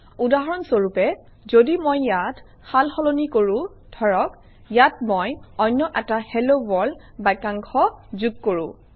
উদাহৰণ স্বৰূপে যদি মই ইয়াত সাল সলনি কৰোঁ ধৰক ইয়াত মই অন্য এটা হেল্ল ৱৰ্ল্ড বাক্যাংশ যোগ কৰোঁ